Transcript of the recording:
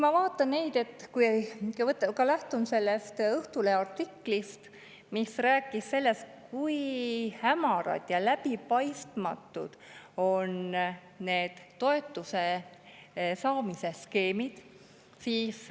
Ma lähtun ka sellest Õhtulehe artiklist, mis rääkis sellest, kui hämarad ja läbipaistmatud on need toetuse saamise skeemid.